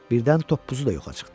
Birdən toppuzu da yoxa çıxdı.